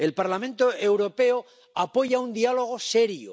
El Parlamento Europeo apoya un diálogo serio.